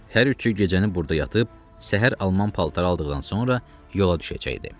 Hər üçü gecəni burda yatıb, səhər alman paltarı aldıqdan sonra yola düşəcəkdi.